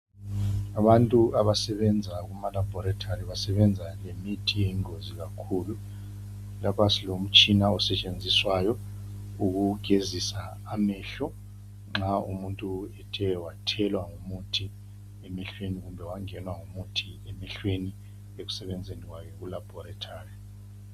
Abantu abasebenza kuma labhorethi basebenza lemithi eyingozi kakhulu .Lapha silomtshina osetshenziswayo ukugezisa amehlo nxa umuntu ethe wathelwa ngumuthi emehlweni kumbe wangenwa ngumuthi emehlweni ekusebenzeni kwakhe kulabhorethi.